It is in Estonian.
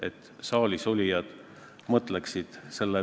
Eks paberi peale võib kõike kirjutada, paber üldjuhul kannatab kõike.